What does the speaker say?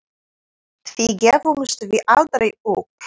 Því gefumst við aldrei upp.